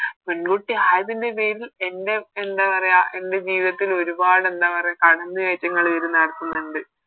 പെങ്കുട്ടി ആയതിൻറെ പേരിൽ എൻറെ എന്താ പറയാ എൻറെ ജീവിതത്തിൽ ഒരുപാട് കടമയായിറ്റ് ഇങ്ങള് ഇവര് നടത്ത്ന്ന്ണ്ട്